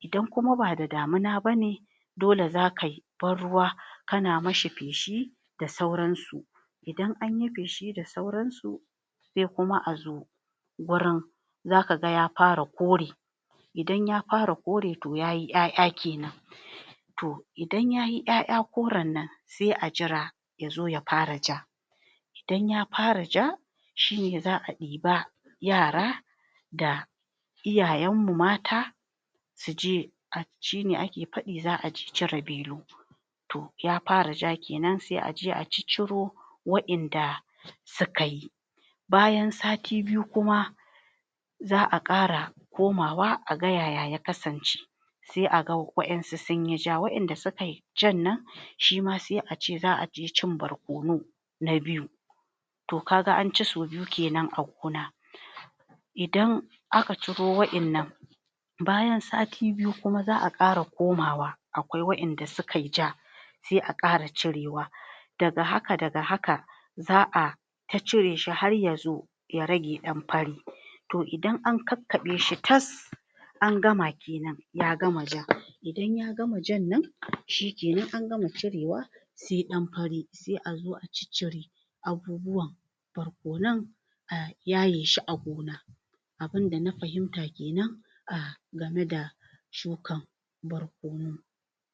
idan kuma ba da damuna bane dole za kai banruwa kana mishi feshi da sauran su, idan anyi feshi da sauran su, sai kuma a zo gurin zaka ga ya fara kore, idan ya fara kore to yayi ƴa'ƴa kenan. To idan yayi ƴa'ƴa koran nan sai a jira yazo ya fara ja idan ya fara ja shine za a ɗiba yara da iyayan mu mata suje shine ake faɗi za aje cire belu, to ya fara ja kenan sai aje a cicciro wayanda suka yi bayan sati biyu kuma za a ƙara komawa a ga yaya ya kasance, sai a ga wayansu sunyi ja, wayanda sukai jan nan, shima sai a ce za a je cin barkono. na biyu. To kaga an ci sau biyu kenan a gona, idan aka ciro wayannan bayan sati biyu kuma za a ƙara komawa aƙwai wayanda sukai ja sai a ƙara cirewa daga haka daga haka za a ta cire shi har yazo ya rage ɗan fari. To idan ankakkaɓe shi tas angama kenan ya gama ja, idan ya gama jan nan shikenan angama cirewa sai ɗan fari, sai a zo a ciccire abubuwan barkonan a yayeshi a gona. Abunda na fahimta kenan a game da shukar barkono.